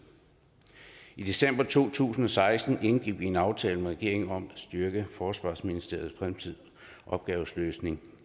i december to tusind og seksten indgik vi en aftale med regeringen om at styrke forsvarsministeriets fremtidige opgaveløsning